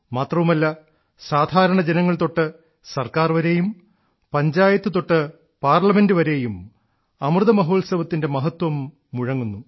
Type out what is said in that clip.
മാത്രവുമല്ല സാധാരണ ജനങ്ങൾ തൊട്ട് സർക്കാർ വരെയും പഞ്ചായത്ത് തൊട്ട് പാർലമെന്റ് വരെയും അമൃതമഹോത്സവത്തിന്റെ മഹത്വം മുഴങ്ങുന്നു